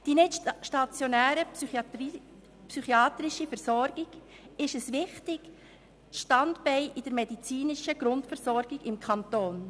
Die nichtstationäre psychiatrische Versorgung ist ein wichtiges Standbein in der medizinischen Grundversorgung im Kanton.